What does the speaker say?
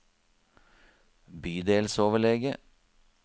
bydelsoverlege